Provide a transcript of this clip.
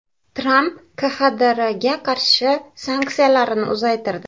Tramp KXDRga qarshi sanksiyalarni uzaytirdi.